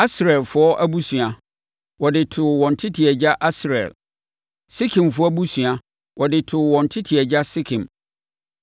Asrielfoɔ abusua, wɔde too wɔn tete agya Asriel. Sekemfoɔ abusua, wɔde too wɔn tete agya Sekem.